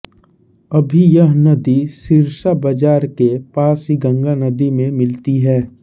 अभी यह नदी सिरसा बाजार के पास ही गंगा नदी में मिलती है